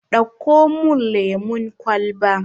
Dauko mun lemun kwalba